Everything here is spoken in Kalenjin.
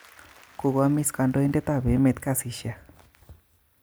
Kokoamis kondoidet tab emet kasisiek